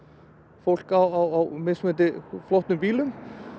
fólk á mismunandi flottum bílum